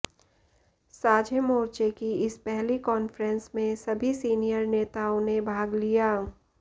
साझे मोर्चे की इस पहली कान्फ्रेंस में सभी सीनियर नेताओं ने भाग लिया